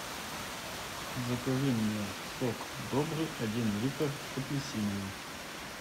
закажи мне сок добрый один литр апельсиновый